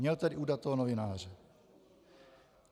Měl tady udat toho novináře.